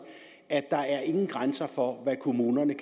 at der ikke bliver nogen grænser for hvad kommunerne